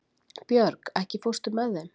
Björg, ekki fórstu með þeim?